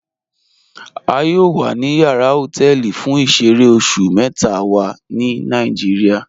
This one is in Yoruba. A yọọ wa ni yàrà họtẹlì fún ìṣẹ̀rẹ̀ oṣù mẹta wa ni Nàìjíríà.